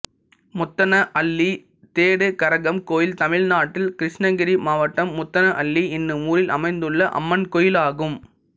முத்தனஹள்ளி தேடு கரகம் கோயில் தமிழ்நாட்டில் கிருஷ்ணகிரி மாவட்டம் முத்தனஹள்ளி என்னும் ஊரில் அமைந்துள்ள அம்மன் கோயிலாகும்